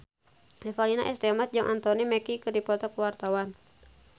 Revalina S. Temat jeung Anthony Mackie keur dipoto ku wartawan